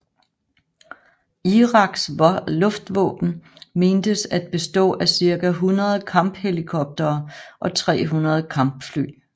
Iraks luftvåben mentes at bestå af cirka 100 kamphelikoptere og 300 kampfly